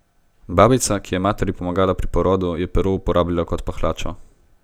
Babica, ki je materi pomagala pri porodu, je pero uporabila kot pahljačo.